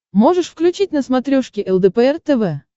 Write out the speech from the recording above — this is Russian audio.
можешь включить на смотрешке лдпр тв